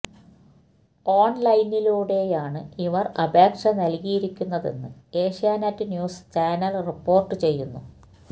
ഓൺലൈനിലൂടെയാണ് ഇവർ അപേക്ഷ നൽകിയിരിക്കുന്നതെന്ന് ഏഷ്യാനെറ്റ് ന്യൂസ് ചാനൽ റിപ്പോർട്ട് ചെയ്യുന്നു